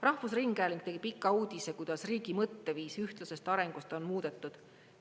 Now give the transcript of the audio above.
Rahvusringhääling tegi pika uudise, kuidas riigi mõtteviisi ühtlasest arengust on muudetud.